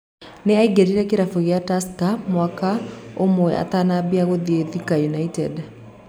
Nĩ aĩngĩrire kĩrabu kĩa Tusker mwaka ũmwe atanamba gũthie Thika Ũnited.